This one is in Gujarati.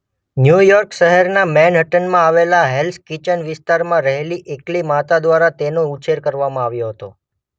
ન્યુયોર્ક શહેરના મેનહટ્ટનમાં આવેલા હેલ્સ કિચન વિસ્તારમાં રહેલી એકલી માતા દ્વારા તેનો ઉછેર કરવામાં આવ્યો હતો.